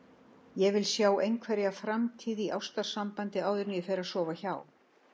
Ég vil sjá einhverja framtíð í ástarsambandi áður en ég fer að sofa hjá.